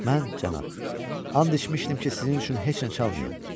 Mən, cənab, and içmişdim ki, sizin üçün heç nə çalmayım.